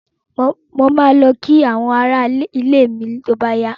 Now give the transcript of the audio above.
Mo ma lọ kí àwọn ará ilé mi tó bá yá